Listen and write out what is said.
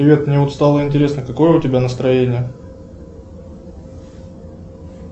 привет мне вот стало интересно какое у тебя настроение